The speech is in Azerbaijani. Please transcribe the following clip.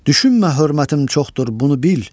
Düşünmə hörmətim çoxdur, bunu bil!